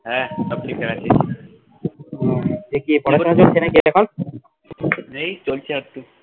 হে সব ঠিকঠাক আছে, ওহ পড়াশুনা চলছে নাকি এখন? এই চলছে আধটু